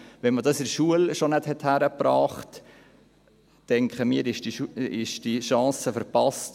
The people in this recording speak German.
Wenn man es schon nicht in der Schule hingekriegt hat, denken wir, ist die Chance verpasst.